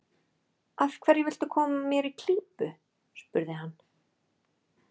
Af hverju viltu koma mér í klípu? spurði hann.